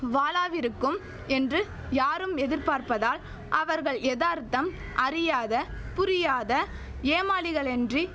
வாளாவிருக்கும் என்று யாரும் எதிர்பார்ப்பதால் அவர்கள் எதார்த்தம் அறியாத புரியாத ஏமாளிகளென்றி